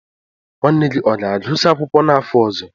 Nwanne gị ọ ga-agụsị akwụkwọ n'afọ ọzọ?